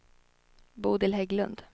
Bodil Hägglund